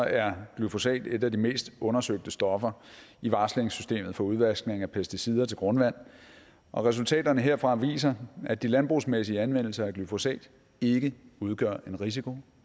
er glyfosat et af de mest undersøgte stoffer i varslingssystemet for udvaskning af pesticider til grundvand og resultaterne herfra viser at de landbrugsmæssige anvendelser af glyfosat ikke udgør en risiko